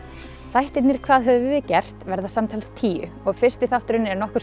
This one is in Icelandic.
þættirnir hvað höfum við gert verða samtals tíu og fyrsti þátturinn er nokkurs